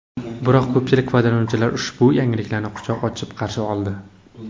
Biroq ko‘pchilik foydalanuvchilar ushbu yangilikni quchoq ochib qarshi oldi.